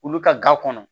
Olu ka ga kɔnɔ